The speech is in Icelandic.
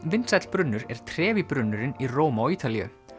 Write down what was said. vinsæll brunnur er brunnurinn í Róm á Ítalíu